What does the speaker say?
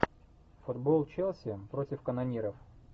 футбол челси против канониров